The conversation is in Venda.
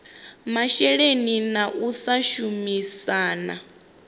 masheleni na u sa shumisana